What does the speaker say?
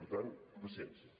per tant paciència